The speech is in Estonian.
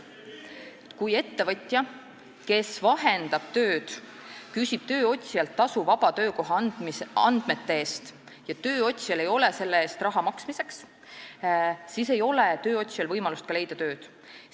Kui ettevõtja, kes vahendab tööd, küsib tööotsijalt tasu vaba töökoha andmete eest ja tööotsijal ei ole raha selle eest maksmiseks, siis ei ole tal ka võimalust tööd leida.